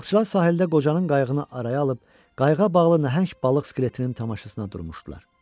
Balıqçılar sahildə qocanın qayığını araya alıb qayığa bağlı nəhəng balıq skeletinin tamaşasına durmuşdular.